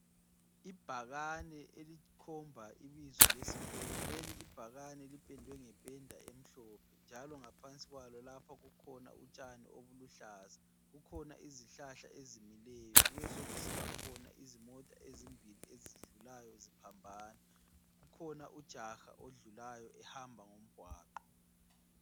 Ibhakane elikhomba ibizo lesikolo. Leli ibhakane lipendwe ngependa emhlophe njalo ngaphansi kwalo lapha kukhona utshani obuluhlaza. Kukhona izihlahla ezimileyo, kubesokusibakhona izimota ezimbili ezidlulayo ziphambana. Kukhona ujaha odlulayo ehamba ngomgwaqo.